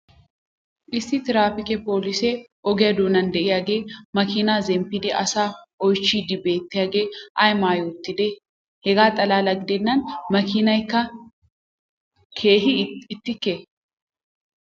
issi tiraappikke polisee ogiya doonan diyaagee makiinaa zemppidi asaa oychiidi beettiyaagee ay maayi uttidee? hegaa xalaala gidennan makiiniyaakka keehi iitekkee?